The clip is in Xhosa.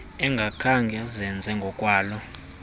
engakhange izenze ngokwalo